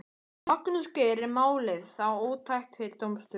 Magnús Geir: Er málið þá ótækt fyrir dómsstólum?